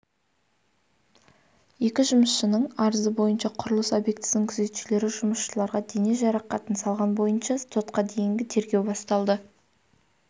екі жұмысшының арызы бойынша құрылыс объектісінің күзетшілері жұмысшыларға дене жарақатын салған бойынша сотқа дейінгі тергеу басталды